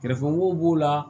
Kɛrɛfɛmɔgɔw b'o la